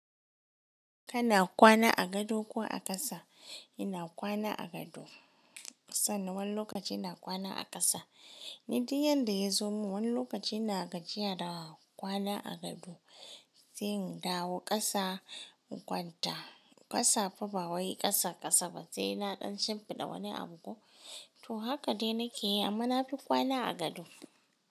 Kana kwana a gado ko a ƙasa? Ina kwana a gado sannan wani lokaci ina kwana a ƙasa. Ni duk yanda yazo min wani lokaci ina gajiya da kwana a gado, sai dawo ƙasa in kwanta. Ƙasa fa ba wai ƙasa ƙasa ba, sai naɗan shimfiɗa wani abu ko. To haka dai nake yi amma na fi kwana a gado.